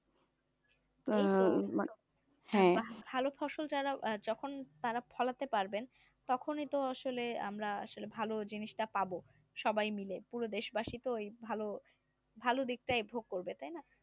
ভালো ফসল যখন তারা ফলাতে পারবেন তখনই তো আসলে আমরা ভালো জিনিসটা পাব সবাই মিলে পুরো দেশবাসী তো ভালো ভালো দিকটা ভোগ করবে তাই না